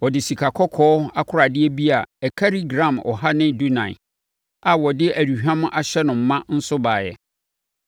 Ɔde sikakɔkɔɔ akoradeɛ bi a ɛkari gram ɔha ne dunan (114) a wɔde aduhwam ahyɛ no ma nso baeɛ.